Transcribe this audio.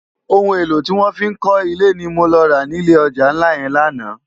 Óoun élò tiwòn fi n kò ilé ni mó lò rá no ilé òjá nlá yèn làná